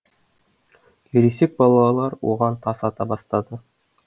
ересек балалар оған тас ата бастады